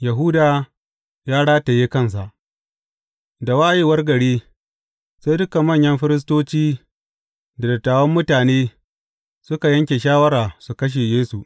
Yahuda ya rataye kansa Da wayewar gari, sai dukan manyan firistoci da dattawan mutane suka yanke shawara su kashe Yesu.